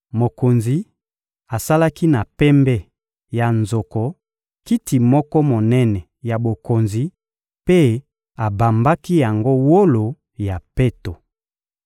Mokonzi asalaki na pembe ya nzoko kiti moko monene ya bokonzi mpe abambaki yango wolo ya peto.